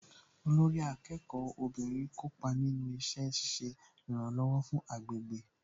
Olórí akẹ́kọ̀ọ́ obìnrin kópa nínú iṣẹ́ ṣiṣẹ́ ìrànlọ̀wọ̀ fún agbègbè